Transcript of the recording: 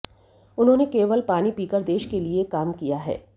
उन्होंने केवल पानी पीकर देश के लिए काम किया है